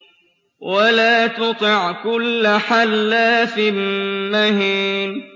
وَلَا تُطِعْ كُلَّ حَلَّافٍ مَّهِينٍ